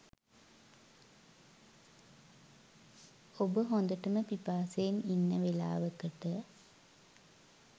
ඔබ හොඳටම පිපාසයෙන් ඉන්න වෙලාවකට